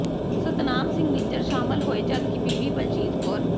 ਸਤਨਾਮ ਸਿੰਘ ਨਿੱਜਰ ਸ਼ਾਮਿਲ ਹੋਏ ਜਦਕਿ ਬੀਬੀ ਬਲਜੀਤ ਕੌਰ